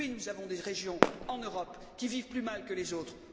Oui, nous avons des régions en Europe qui vivent plus mal que les autres.